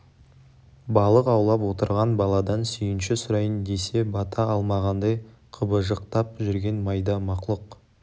балық аулап отырған баладан сүйінші сұрайын десе бата алмағандай қыбыжықтап жүрген майда мақлұқ